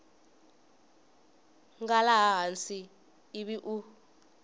nga laha hansi ivi u